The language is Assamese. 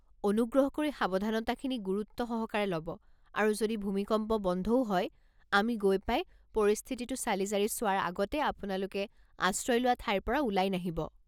অনুগ্ৰহ কৰি সাৱধানতাখিনি গুৰুত্ব সহকাৰে ল'ব আৰু যদি ভূমিকম্প বন্ধও হয়, আমি গৈ পাই পৰিস্থিতিটো চালিজাৰি চোৱাৰ আগতে আপোনালোকে আশ্ৰয় লোৱা ঠাইৰ পৰা ওলাই নাহিব।